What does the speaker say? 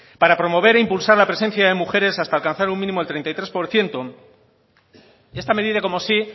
para promover e impulsar la presencia de mujeres hasta alcanzar un mínimo del treinta y tres por ciento esta medida como sí